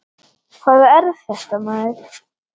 Hvað er þetta maður.